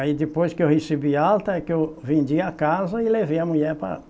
Aí depois que eu recebi alta é que eu vendi a casa e levei a mulher